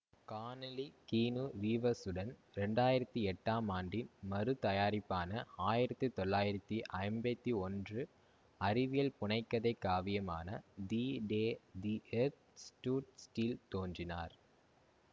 கானலி Keanu ரீவ்ஸ்சுடன் இரண்டு ஆயிரத்தி எட்டாம் ஆண்டின் மறு தயாரிப்பான ஆயிரத்தி தொள்ளாயிரத்தி ஐம்பத்தி ஒன்று அறிவியல் புனைக்கதை காவியமான the day the earth stood still தோன்றினார்